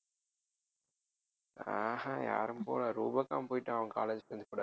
அஹ் ஹம் யாரும் போகலை போயிட்டான் அவன் college friends கூட